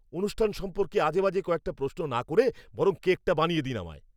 অনুষ্ঠান সম্পর্কে আজেবাজে কয়েকটা প্রশ্ন না করে বরং কেকটা বানিয়ে দিন আমায়।